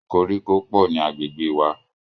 Koríko pọ̀ ní agbègbè wà.